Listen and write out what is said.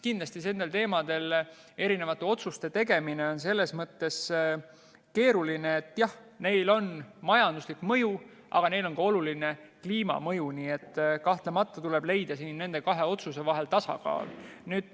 Kindlasti nendel teemadel otsuste tegemine on selles mõttes keeruline, et neil on majanduslik mõju, aga neil on ka oluline kliimamõju, nii et kahtlemata tuleb leida nende otsuste vahel tasakaal.